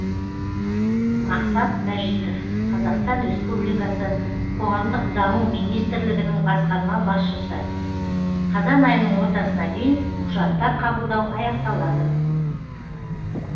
мақсат мәжитов қазақстан республикасы қоғамдық даму министрлігінің басқарма басшысы қазан айының ортасына дейін құжаттар қабылдау аяқталады